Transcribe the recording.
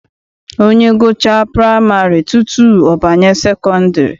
Onye gụchaa praịmarị tutu ọ banye sekọndịrị.